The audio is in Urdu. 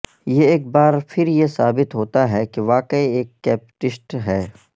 یہ ایک بار پھر یہ ثابت ہوتا ہے کہ واقعی ایک کیپپٹسٹ ہے